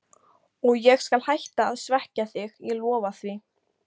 Og ég skal hætta að svekkja þig, ég lofa því.